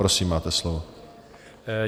Prosím, máte slovo.